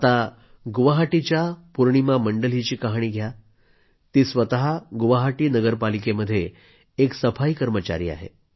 आता गुवाहाटीच्या पूर्णिमा मंडल हिची कहाणी घ्या ती स्वतः गुवाहाटी नगरपालिकेमध्ये एक सफाई कर्मचारी आहे